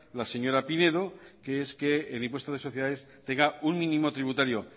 la señora pinedo que es que el impuesto sobre sociedades tenga un mínimo tributario